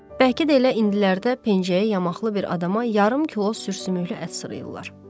Bəlkə də elə indilərdə pencəyi yamaqlı bir adama yarım kilo sür-sümüklü ət satdırırlar.